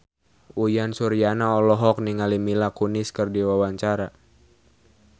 Uyan Suryana olohok ningali Mila Kunis keur diwawancara